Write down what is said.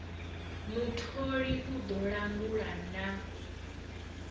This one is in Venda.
mutholi u ḓo langula na